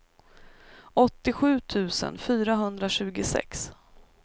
åttiosju tusen fyrahundratjugosex